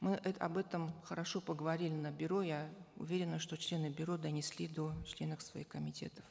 мы об этом хорошо поговорили на бюро я уверена что члены бюро донесли до членов своих комитетов